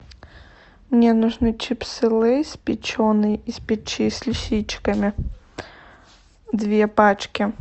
мне нужны чипсы лейс печеные из печи с лисичками две пачки